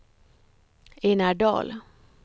Enar Dahl